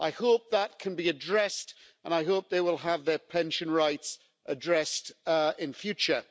I hope that can be addressed and I hope they will have their pension rights addressed in future.